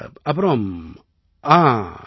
அப்புறம் ஆம்